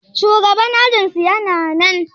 shugaban ajinsu yana nan?